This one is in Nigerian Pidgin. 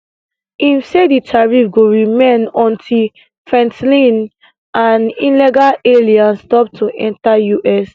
im say di tariff go remain until fentanyl and illegal aliens stop to enta us